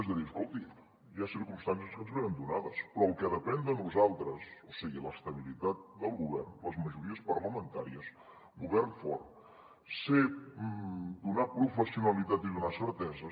és a dir escolti hi ha circumstàncies que ens venen donades però el que depèn de nosaltres o sigui l’estabilitat del govern les majories parlamentàries govern fort donar professionalitat i donar certeses